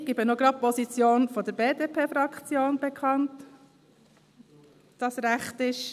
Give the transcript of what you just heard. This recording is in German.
Ich gebe auch gleich die Position der BDP-Fraktion bekannt, wenn das recht ist.